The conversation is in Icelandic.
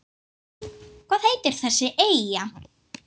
Hvernig og hvar vex ananas?